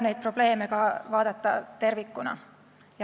Neid probleeme tuleb vaadata tervikuna.